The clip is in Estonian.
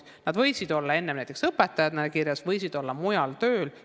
Nad võisid olla enne kirjas näiteks õpetajatena, võisid olla mujal tööl.